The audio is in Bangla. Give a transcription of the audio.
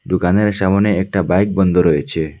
দোকানের সামনে একটা বাইক বন্ধ রয়েছে।